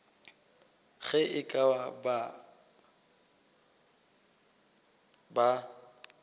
ge e ka ba ba